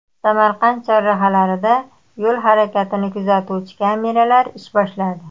Samarqand chorrahalarida yo‘l harakatini kuzatuvchi kameralar ish boshladi.